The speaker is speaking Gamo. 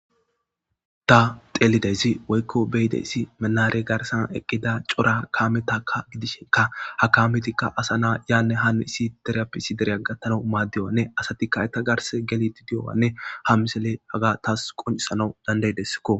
ta telidezi woykko beyidesi menare garsan eqqida cora kaametakka gidishenka ha kaametikka asa naa yanne hanu issi derappisi derea gattana maaddiwanne asatikka eta garse geliti di'owanne ha misele aga taas quncisana dandaydesskko